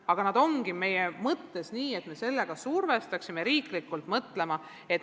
Aga nad ongi meie mõttes nii, et me survestaksime sellega riiklikult mõtlema.